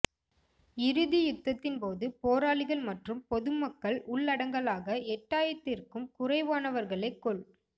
இறுதி யுத்தத்தின்போது போராளிகள் மற்றும் பொதுமக்கள் உள்ளடங்களாக எட்டாயிரத்திற்கும் குறைவானவர்களே கொல்